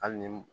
Hali ni